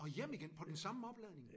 Og hjem igen på den samme opladning?